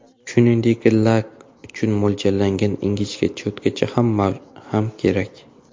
Shuningdek, lak uchun mo‘ljallangan ingichka cho‘tkacha ham kerak.